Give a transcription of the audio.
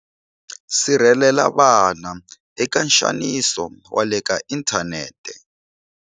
Sirhelela vana eka nxaniso wa le ka inthanete.